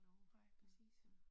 Nej, præcis